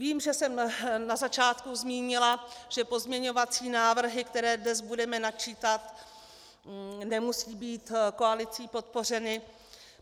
Vím, že jsem na začátku zmínila, že pozměňovací návrhy, které dnes budeme načítat, nemusí být koalicí podpořeny.